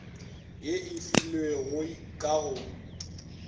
ye e filwegoi ka go